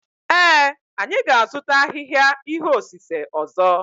Ee, anyị ga-azụta ahịhịa ihe osise ọzọ.